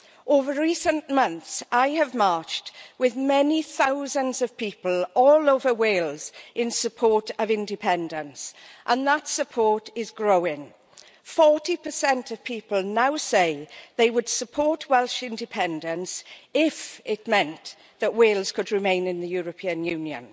Over recent months, I have marched with many thousands of people all over Wales in support of independence, and that support is growing. Forty percent of people now saying they would support Welsh independence if it meant that Wales could remain in the European Union.